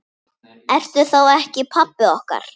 Ertu þá ekki pabbi okkar?